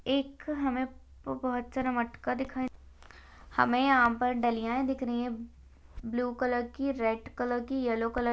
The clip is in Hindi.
एक हमे बहुत सारा मटका दिखा -- हमे यहा पर ढलियाए दिख रही है ब्लू कलर की रेड कलर की येल्लो कलर --